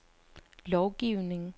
lovgivning